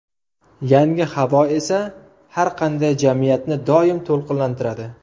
Yangi havo esa har qanday jamiyatni doim to‘lqinlantiradi.